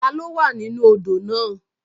Taló wà nínú odò náà?